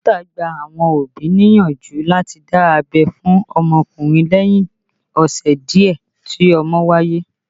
Dókítà gba àwọn òbí níyànjú láti dá abẹ́ fún ọmọkùnrin lẹ́yìn ọ̀sẹ̀ díẹ̀ tí ọmọ wáyé